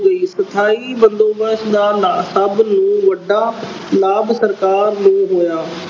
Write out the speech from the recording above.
ਲਈ ਸਥਾਈ ਬੰਦੋਬਸਤ ਅਹ ਦਾ ਸਭ ਨੂੰ ਵੱਡਾ ਲਾਭ ਸਰਕਾਰ ਨੂੰ ਹੋਇਆ।